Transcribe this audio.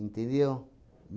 Entendeu?